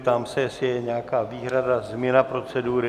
Ptám se, jestli je nějaká výhrada, změna procedury.